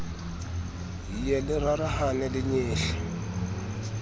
ye le rarahane le nyehle